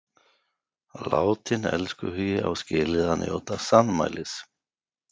Látinn elskhugi á skilið að njóta sannmælis.